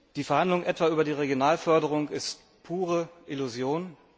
Die Verhandlungen etwa über die Regionalförderung sind pure Illusion.